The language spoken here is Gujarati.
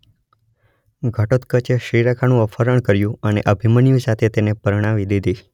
ઘટોત્કચે શિરેખાનું અપહરણ કર્યું અને અભિમન્યુ સાથે તેને પરણાવી દીધી.